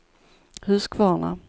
Huskvarna